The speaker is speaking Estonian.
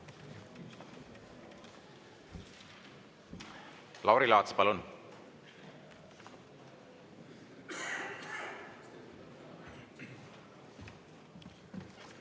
Lauri Laats, palun!